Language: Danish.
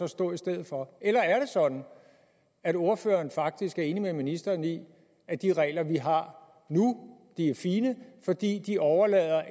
stå i stedet for eller er det sådan at ordføreren faktisk er enig med ministeren i at de regler vi har nu er fine fordi de overlader